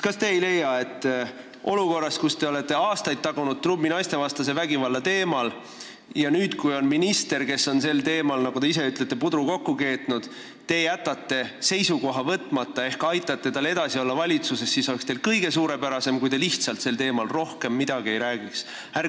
Kas te ei leia, et olukorras, kus te olete aastaid naistevastase vägivalla teemal trummi tagunud ja jätate nüüd, kui üks minister on selle koha pealt, nagu te ise ütlesite, pudru kokku keetnud, seisukoha võtmata ehk aitate tal valitsuses edasi olla, oleks suurepärane, kui te sel teemal rohkem midagi ei räägiks?